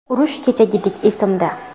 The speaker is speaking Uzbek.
Urush kechagidek esimda.